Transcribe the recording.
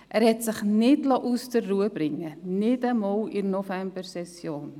Er liess sich nicht aus der Ruhe bringen, nicht einmal in der Novembersession.